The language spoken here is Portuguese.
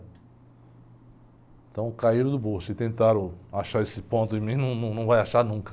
Então o caíram do burro, se tentaram achar esse ponto em mim, num, não vai achar nunca.